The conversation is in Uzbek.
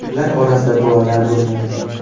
Ular orasida bolalar bo‘lmagan.